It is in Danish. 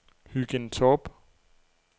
Hygind Torp